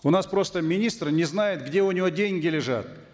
у нас просто министр не знает где у него деньги лежат